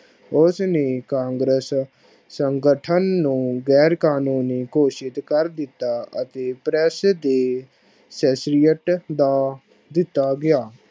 ਉਸ ਨੇ ਕਾਗਰਸ ਸੰਗਠਨ ਨੂੰ ਗੈਰ ਕਾਨੂੰਨੀ ਘੋਸ਼ਿਤ ਕਰ ਦਿਤਾ। ਅਤੇ press ਦੇ ਦਾ ਦਿੱਤਾ ਗਿਆ।